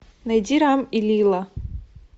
найди рам и лила